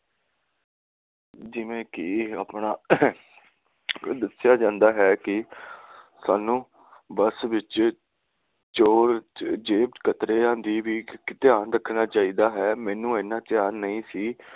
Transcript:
ਜਿਵੇ ਕਿ ਆਪਣਾ ਵਿੱਚ ਦੱਸਿਆ ਜਾਂਦਾ ਹੈ ਕਿ ਸਾਂਨੂੰ ਬੱਸ ਵਿਚ ਚੋਰ ਜੇਬ ਕਤਰਿਆਂ ਦਾ ਵੀ ਧਿਆਨ ਰੱਖਣਾ ਚਾਹੀਦਾ ਹੈ ਮੈਨੂੰ ਇਹਨਾਂ ਧਿਆਨ ਨਹੀਂ ਸੀ